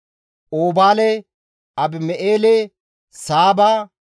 Oobaale, Abima7eele, Saaba,